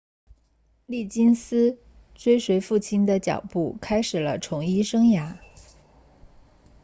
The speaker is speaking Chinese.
利金斯 liggins 追随父亲的脚步开始了从医生涯